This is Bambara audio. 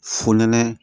Fonɛnɛ